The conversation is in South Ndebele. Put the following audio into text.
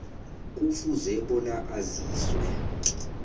kufuze bona aziswe